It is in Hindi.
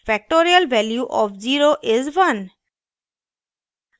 factorial value of 0 is 1